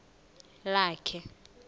lakhe